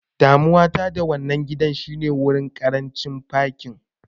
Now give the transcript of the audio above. Damuwa ta da wannan gidan shine ƙarancin gurin fakin.